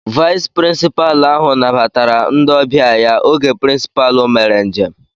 Vayis pirinsipaalu ahụ nabatara ndị ọbịa ya oge pirincipalu mere njem